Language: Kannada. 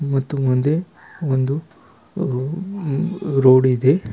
ಮತ್ತು ಮುಂದೆ ಒಂದು ರೋಡ್ ಇದೆ.